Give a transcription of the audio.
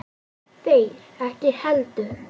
Þeir ekki heldur.